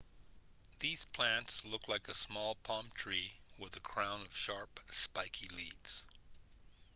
these plants look like a small palm tree with a crown of sharp spiky leaves